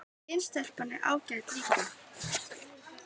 Hin stelpan er ágæt líka